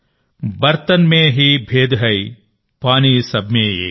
బర్తన్ మే హీ భేద్ హై పానీ సబ్ మే ఏక్